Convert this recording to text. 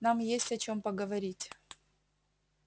нам есть о чем поговорить